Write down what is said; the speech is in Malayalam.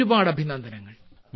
ഒരുപാട് അഭിനന്ദനങ്ങൾ